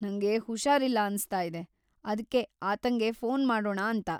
ನಂಗೆ ಹುಷಾರಿಲ್ಲ ಅನ್ಸ್ತಾಯಿದೆ, ಅದ್ಕೆ ಆತಂಗೆ ಫೋನ್‌ ಮಾಡೋಣಾ ಅಂತ.